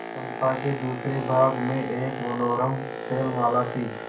चंपा के दूसरे भाग में एक मनोरम शैलमाला थी